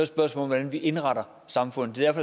spørgsmål om hvordan vi indretter samfundet det er